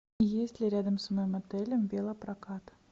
есть ли рядом с моим отелем велопрокат